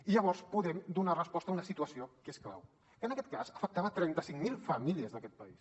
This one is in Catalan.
i llavors podem donar resposta a una situació que és clau que en aquest cas afectava trenta cinc mil famílies d’aquest país